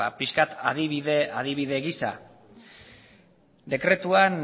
pixka bat adibide gisa dekretuan